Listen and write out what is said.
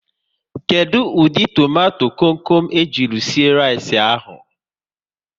Kedụ ụdị tomato kom kom e ji sie rice ahụ?